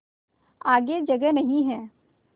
आगे जगह नहीं हैं